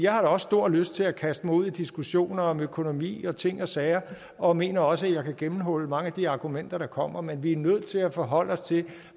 har da også stor lyst til at kaste mig ud i diskussioner om økonomi og ting og sager og mener også at jeg kan gennemhulle mange af de argumenter der kommer men vi er nødt til at forholde os til